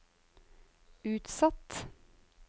utsatt